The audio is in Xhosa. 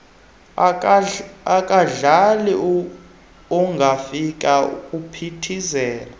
akadlali ungafika kuphithizela